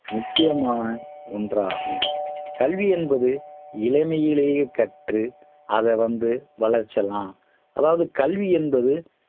முக்கியமான ஒண்றாகும் கல்வி என்பது இளமையிலேயே கற்று அத வந்து வளர்ச்சலாம் அதாவது கல்வி என்பது